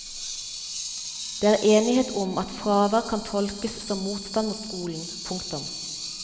Det er enighet om at fravær kan tolkes som motstand mot skolen. punktum